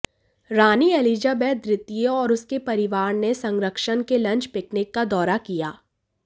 रानी Elizabeth द्वितीय और उसके परिवार ने संरक्षक के लंच पिकनिक का दौरा किया